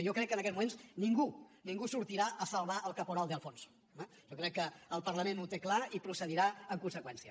jo crec que en aquests moments ningú ningú sortirà a salvar el caporal de alfonso eh jo crec que el parlament ho té clar i procedirà en conseqüència